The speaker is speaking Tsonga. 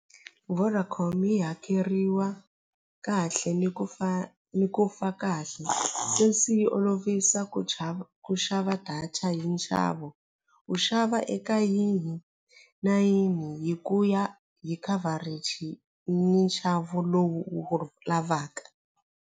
Vodacom yi hakeriwa kahle ni ku ni ku fa kahle sweswi yi olovisa ku chava ku xava data hi nxavo u xava eka yihi na yihi hi ku ya hi coverage ni nxavo lowu u wu lavaka.